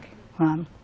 Vamos.